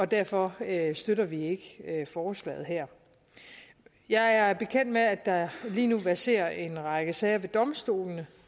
derfor støtter vi ikke forslaget her jeg er bekendt med at der lige nu verserer en række sager ved domstolene